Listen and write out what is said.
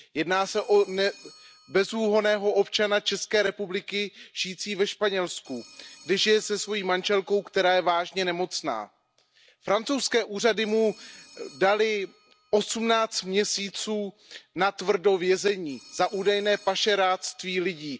Jedná se o bezúhonného občana České republiky žijícího ve Španělsku, kde žije se svojí manželkou, která je vážně nemocná. Francouzské úřady mu daly 18 měsíců natvrdo vězení za údajné pašeráctví lidí.